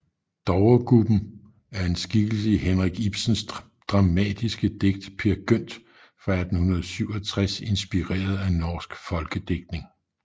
Dovregubben er en skikkelse i Henrik Ibsens dramatiske digt Peer Gynt fra 1867 inspireret af norsk folkedigtning